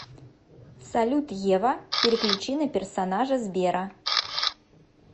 салют ева переключи на персонажа сбера